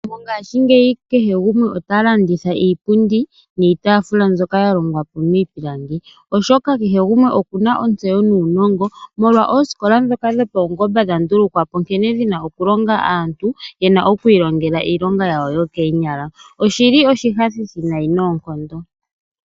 Mongashingeyi kehe gumwe otalanditha iipundi niitaafula mbyoka ya hongwa miipilangi, oshoka kehe gumwe okuna ontseyo nuunongo, molwa oosikola dhoka dhopaungomba dha ndulukwa po nkene dhina okulonga aantu, yena okwiilongela iilonga yawo yokoonyala. Oshili oshinyanyudhi noonkondo.